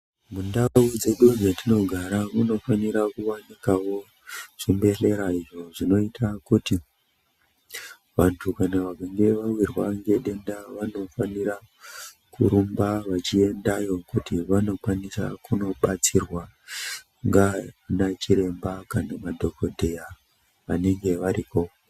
Mundau dzedu dzatinogara muno fahirawo kuwanikawo chibhedhlera icho chinoita kuti vantu kana vachinge vawirwa nedenda vanokwanisa kuenda vachindodetserwa ngana chiremba kana madhokodheya vanenge variko.